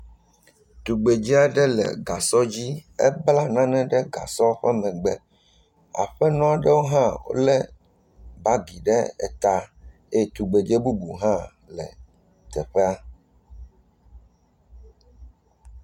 Tugbedzɛ aɖe le gasɔ dzi, ekpla nane ɖe gasɔa ƒe megbe. Aƒenɔ aɖewo hã le bagi ɖe eta. Eye tugbedzɛ bubu hã le teƒea.